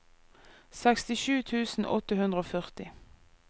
sekstisju tusen åtte hundre og førti